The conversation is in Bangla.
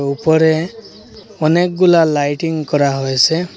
উপরে অনেকগুলা লাইটিং করা হয়েসে ।